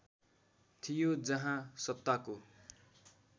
थियो जहाँ सत्ताको